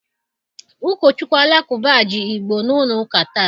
Ụkọchukwu Alakụba ji Igbo n'ụlọ ụka taa.